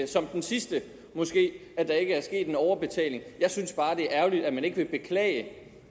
som den sidste at der ikke er sket en overbetaling jeg synes bare det er ærgerligt at man ikke vil beklage